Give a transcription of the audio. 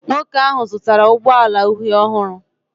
Nwoke ahụ zụtara ụgbọ ala uhie ọhụrụ